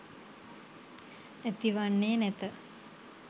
ඇති වන්නේ නැත.